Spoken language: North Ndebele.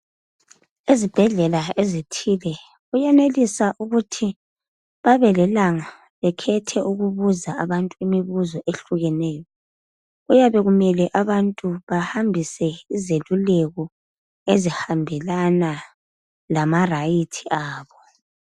Ezibhedlela ezithile kuyenelisa ukuthi babe lelanga bekhethe ukubuza abantu imibuzo ehlukeneyo .Kuyabe kumele abantu bahambise izeluleko ezihambelana lama rights abo .